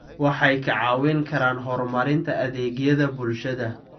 Waxay kaa caawin karaan horumarinta adeegyada bulshada.